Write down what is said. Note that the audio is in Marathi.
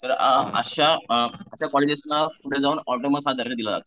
तर अ अशा अ अशा कॉलेजेसना ऑटोनॉमस हा दर्जा दिला जातो.